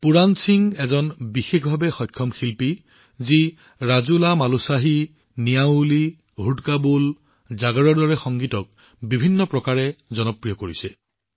পুৰাণ সিং এজন দিব্যাংগ শিল্পী যি বিভিন্ন সংগীত প্ৰকাৰ যেনে ৰাজুলামালুশাহী নিউলি হুদকা বোল জাগৰ জনপ্ৰিয় কৰি আছে